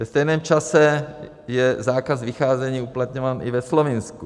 Ve stejném čase je zákaz vycházení uplatňován i ve Slovinsku.